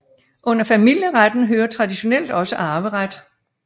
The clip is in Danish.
Under familieretten hører traditionelt også arveret